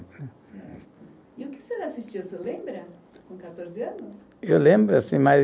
E o que o senhor assistia, o senhor lembra, com quatorze anos? Eu lembro assim, mas